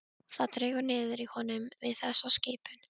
Það dregur niður í honum við þessa skipun.